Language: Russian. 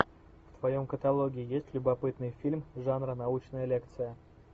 в твоем каталоге есть любопытный фильм жанра научная лекция